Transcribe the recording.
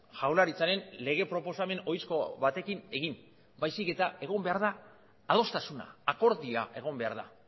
jaurlaritzaren lege proposamen ohizko batekin egin baizik egon behar da adostasuna akordioa egon behar da